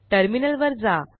टर्मिनलवर जा